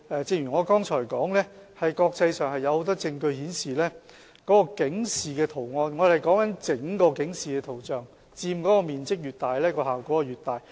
正如我剛才所說，國際上有很多證據顯示，整個警示圖像所佔面積越大，效果越大。